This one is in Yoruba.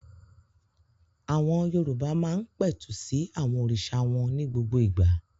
Àwọn Yorùbá máa ń pẹ̀tù sí àwọn òrìṣà wọn ní gbogbo ìgbà.